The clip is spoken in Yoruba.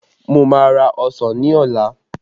Mo má ra ọsàn ní ọ̀la